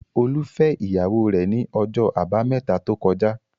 Olú fẹ́ ìyàwó rẹ̀ ní ọjọ́ àbámẹ́ta tó kọjá.